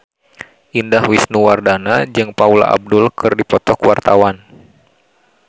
Indah Wisnuwardana jeung Paula Abdul keur dipoto ku wartawan